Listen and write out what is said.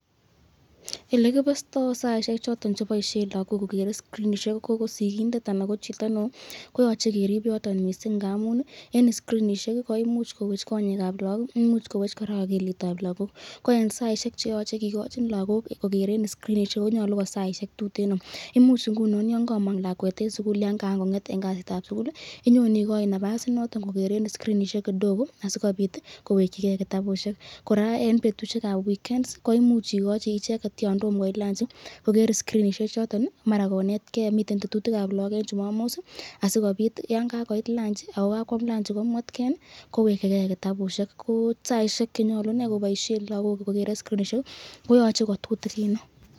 Elekiboste saisyek choton cheboisyen lagok kogeren skrinishek ko sikindet anan ko chito neo koyoche korib yoton mising ngamun eng skrinishek koimuch kowech konyekab lagok, imuch kowech koraa akilitab lagok ko eng saisyek cheyochei kikochin lagok kogeren skrinishek koyoche ko saisyek tuteno ,ngunon yon kamang lakwet eng sukul yan kaan konget eng kasitab sukul